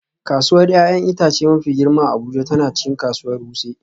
Kasuwar 'ya'yan itace mafi girma a Abuja tana cikin kasuwar Wuse